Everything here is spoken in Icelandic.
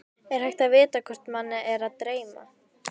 Er hægt að vita hvort mann er að dreyma?